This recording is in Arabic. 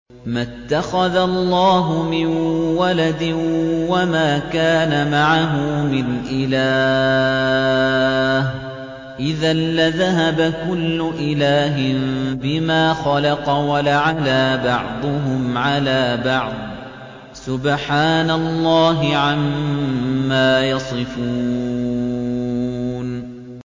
مَا اتَّخَذَ اللَّهُ مِن وَلَدٍ وَمَا كَانَ مَعَهُ مِنْ إِلَٰهٍ ۚ إِذًا لَّذَهَبَ كُلُّ إِلَٰهٍ بِمَا خَلَقَ وَلَعَلَا بَعْضُهُمْ عَلَىٰ بَعْضٍ ۚ سُبْحَانَ اللَّهِ عَمَّا يَصِفُونَ